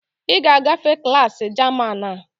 Ị ga-agafe klaasị German a!